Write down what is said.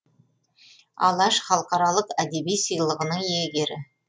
алаш халықаралық әдеби сыйлығының иегері